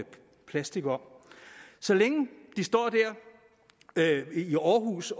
plastik om så længe de står der i aarhus